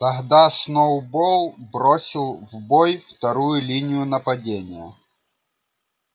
тогда сноуболл бросил в бой вторую линию нападения